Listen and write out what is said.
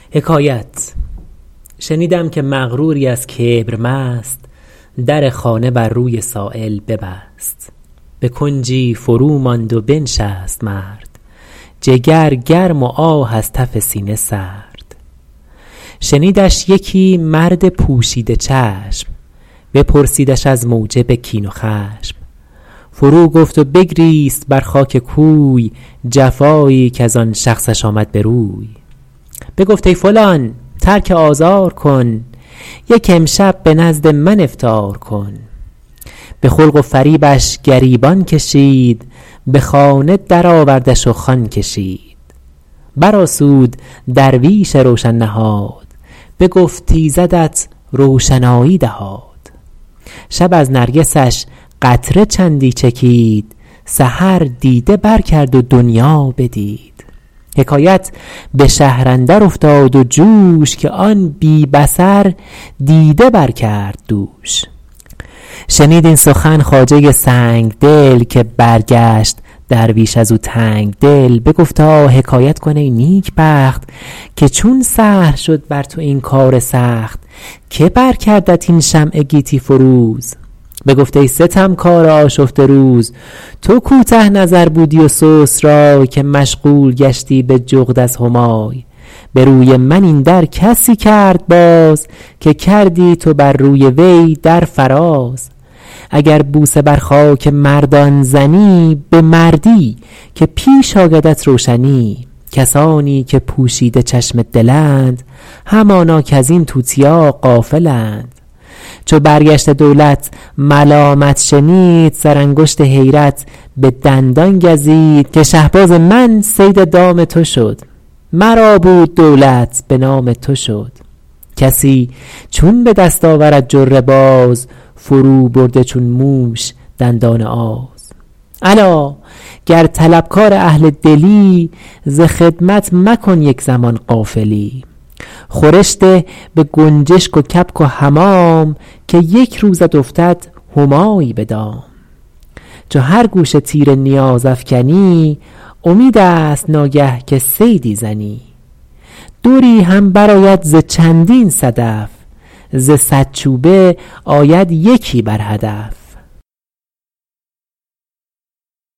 شنیدم که مغروری از کبر مست در خانه بر روی سایل ببست به کنجی فرو ماند و بنشست مرد جگر گرم و آه از تف سینه سرد شنیدش یکی مرد پوشیده چشم بپرسیدش از موجب کین و خشم فرو گفت و بگریست بر خاک کوی جفایی کز آن شخصش آمد به روی بگفت ای فلان ترک آزار کن یک امشب به نزد من افطار کن به خلق و فریبش گریبان کشید به خانه در آوردش و خوان کشید بر آسود درویش روشن نهاد بگفت ایزدت روشنایی دهاد شب از نرگسش قطره چندی چکید سحر دیده بر کرد و دنیا بدید حکایت به شهر اندر افتاد و جوش که آن بی بصر دیده بر کرد دوش شنید این سخن خواجه سنگدل که برگشت درویش از او تنگدل بگفتا حکایت کن ای نیکبخت که چون سهل شد بر تو این کار سخت که بر کردت این شمع گیتی فروز بگفت ای ستمکار آشفته روز تو کوته نظر بودی و سست رای که مشغول گشتی به جغد از همای به روی من این در کسی کرد باز که کردی تو بر روی وی در فراز اگر بوسه بر خاک مردان زنی به مردی که پیش آیدت روشنی کسانی که پوشیده چشم دلند همانا کز این توتیا غافلند چو برگشته دولت ملامت شنید سر انگشت حیرت به دندان گزید که شهباز من صید دام تو شد مرا بود دولت به نام تو شد کسی چون به دست آورد جره باز فرو برده چون موش دندان آز الا گر طلبکار اهل دلی ز خدمت مکن یک زمان غافلی خورش ده به گنجشک و کبک و حمام که یک روزت افتد همایی به دام چو هر گوشه تیر نیاز افکنی امید است ناگه که صیدی زنی دری هم بر آید ز چندین صدف ز صد چوبه آید یکی بر هدف